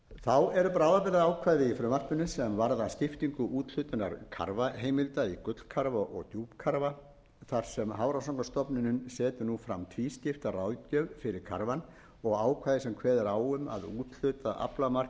þá eru bráðabirgðaákvæði í frumvarpinu sem varða skiptingu úthlutunar karfaaflaheimilda í gullkarfa og djúpkarfa þar sem hafrannsóknastofnunin setur nú fram tvískipta ráðgjöf fyrir karfann og ákvæði sem kveður á um að úthlutað aflamark í úthafsrækju leiði ekki til þess að fiskiskip missi aflahlutdeild